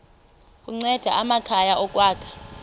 kunceda amakhaya ukwakha